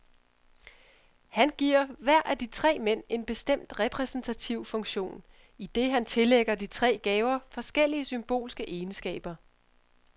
Han giver hver af de tre mænd en bestemt repræsentativ funktion, idet han tillægger de tre gaver forskellige symbolske egenskaber.